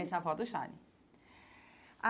Essa avó do Chale